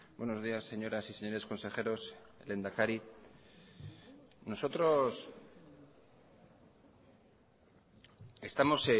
buenos días señoras y señores consejeros lehendakari nosotros estamos